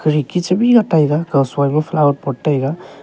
eki chebila taiga kawsoi ma flower pot taiga.